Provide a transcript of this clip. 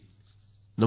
नमस्कार सर